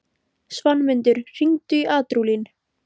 Svanmundur, hringdu í Ardúlín.